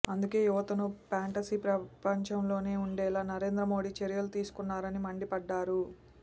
అందుకే యువతను ఫాంటసీ ప్రపంచంలోనే ఉంచేలా నరేంద్ర మోడీ చర్యలు తీసుకున్నారని మండిపడ్డారు